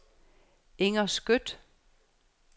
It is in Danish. Inger Skjødt